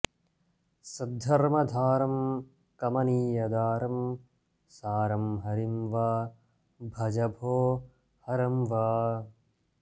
सद्धर्मधारं कमनीयदारं सारं हरिं वा भज भो हरं वा